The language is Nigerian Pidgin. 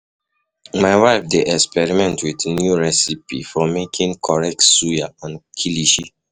My wife dey experiment with new recipe for um making um correct suya um and kilishi.